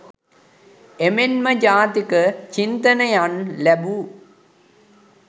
එමෙන්ම ජාතික චින්තනයන් ලැබූ